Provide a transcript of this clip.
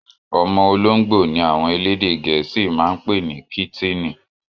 Omo olongbo ni àwọn èlédè igẹ́sí maa n pẹ̀ ní kítíni